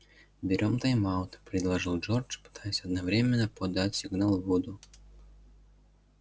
берём тайм-аут предложил джордж пытаясь одновременно подать сигнал вуду